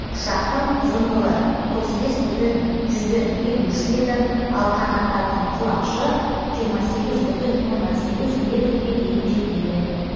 ұшақтың ұзындығы отыз бес бүтін жүзден елу үш метр ал қанаттарының құлашы жиырма сегіз бүтін оннан сегіз метрге дейін жетеді